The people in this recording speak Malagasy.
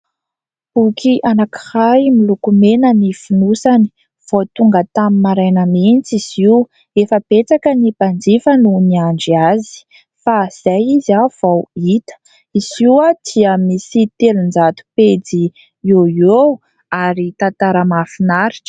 Boky anankiray miloko mena ny fonosany vao tonga tamin'ny maraina mihitsy izy io, efa betsaka ny mpanjifa noho niandry azy fa izay izy ah vao hita izy io ah dia misy telonjato pejy io eo ary tantara mahafinaritra.